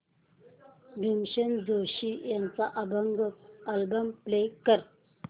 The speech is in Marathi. भीमसेन जोशी यांचा अभंग अल्बम प्ले कर